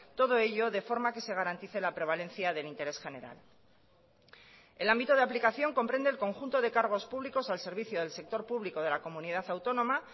todo ello de forma que se garantice la prevalencia del interés general el ámbito de aplicación comprende el conjunto de cargos públicos al servicio del sector público de la comunidad autónoma